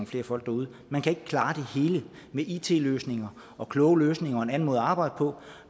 flere folk derude man kan ikke klare det hele med it løsninger og kloge løsninger og en anden måde at arbejde på